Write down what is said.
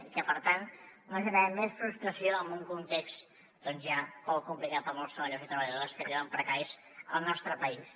i per tant no generem més frustració en un context doncs ja prou complicat per a molts treballadors i treballadores que viuen precaris al nostre país